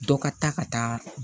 Dɔ ka taa ka taa